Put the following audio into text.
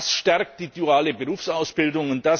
Das stärkt die duale Berufsausbildung.